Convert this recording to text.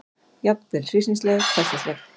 Jafnvel hryssingsleg, hversdagsleg.